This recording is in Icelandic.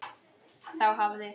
Þá hafði